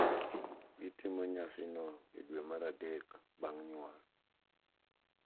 Gitimo nyasino e dwe mar adek bang’ nyuol.